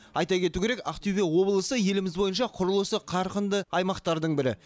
айта кету керек ақтөбе облысы еліміз бойынша құрылысы қарқынды аймақтардың бірі